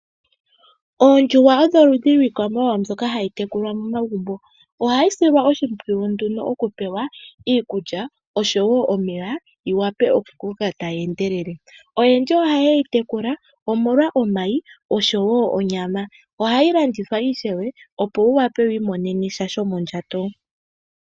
Oondjuhwa odho oludhi lwiikwamawawa mbyoka hayi tekulwa momagumbo. Ohayi silwa oshimpwiyu nduno oku pewa iikulya oshowo omeya yi wape oku koka tayi endelele. Oyendji ohaye yi tekula omolwa omayi noshowo onyama. Ohayi landithwa ishewe opo wu wape wu imonene sha shomondjato.